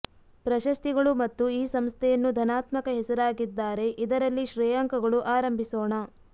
ಪ್ರಶಸ್ತಿಗಳು ಮತ್ತು ಈ ಸಂಸ್ಥೆಯನ್ನು ಧನಾತ್ಮಕ ಹೆಸರಾಗಿದ್ದಾರೆ ಇದರಲ್ಲಿ ಶ್ರೇಯಾಂಕಗಳು ಆರಂಭಿಸೋಣ